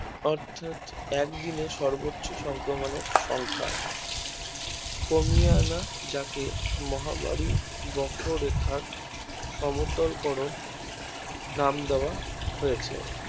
অর্থাৎ একদিন সর্বোচ্চ সংক্রমণের সংখ্যা কমিয়ে আনা যাকে মহামারী বক্র রেখা সমতল করন নাম দেওয়া হয়েছে